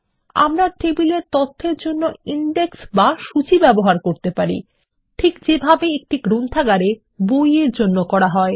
আমরা টেবিলের তথ্যর জন্য ইন্ডেক্স বা সূচী ব্যবহার করতে পারি ঠিক যেভাবে একটি গ্রন্থাগারে বই এর ব্যবহার করা হয়